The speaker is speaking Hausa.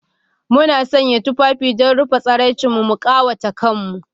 Muna sanya tufafi don rufe tsiraicinmu, mu ƙawata kanmu